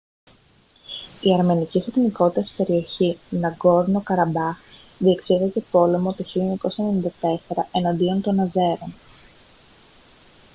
η αρμενικής εθνικότητας περιοχή ναγκόρνο καραμπάχ διεξήγαγε πόλεμο το 1994 εναντίον των αζέρων